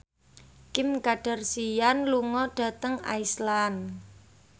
Kim Kardashian lunga dhateng Iceland